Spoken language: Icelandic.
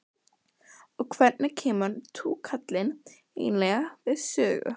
Karen: Og hvernig kemur túkallinn eiginlega við sögu?